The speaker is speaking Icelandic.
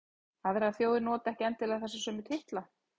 Aðrar þjóðir nota ekki endilega þessa sömu titla.